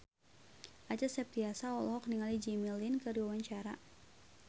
Acha Septriasa olohok ningali Jimmy Lin keur diwawancara